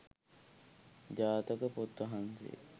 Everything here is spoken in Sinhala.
ජාතක පොත් වහන්සේ